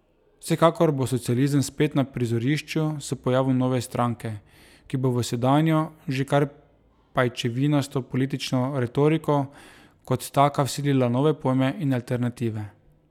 Vsekakor bo socializem spet na prizorišču s pojavom nove stranke, ki bo v sedanjo, že kar pajčevinasto politično retoriko kot taka vsilila nove pojme in alternative.